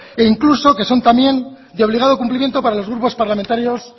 e incluso que son también de obligado cumplimiento para los grupos parlamentarios